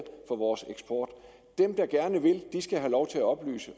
for vores eksport dem der gerne vil skal have lov til at oplyse